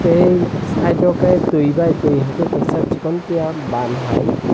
tei side o ke tui bai tui haike kaisa sikontiya ban hai.